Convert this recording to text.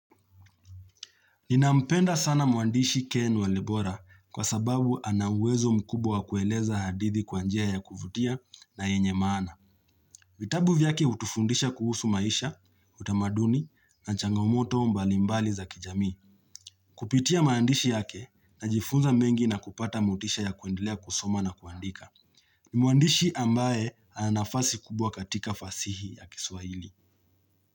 Ninampenda sana mwandishi Ken Walibora kwa sababu anauwezo mkubwa wa kueleza hadithi kwa njia ya kuvutia na yenye maana. Vitabu vyake hutufundisha kuhusu maisha, utamaduni na changamoto mbali mbali za kijamii. Kupitia maandishi yake najifunza mengi na kupata motisha ya kuendelea kusoma na kuandika. Ni mwandishi ambaye ana nafasi kubwa katika fasihi ya kiswahili.